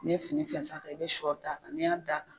N'i ye fini fɛnsɛ a kan i bɛ siyɔ da a kan n'i y'a da' kan.